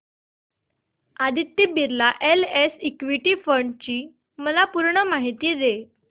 Aditya Birla SL equity fund D ची पूर्ण माहिती दे